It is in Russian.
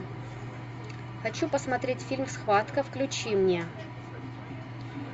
хочу посмотреть фильм схватка включи мне